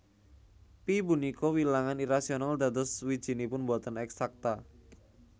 Pi punika wilangan irasional dados wijinipun boten eksakta